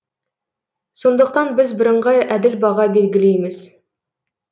сондықтан біз бірыңғай әділ баға белгілейміз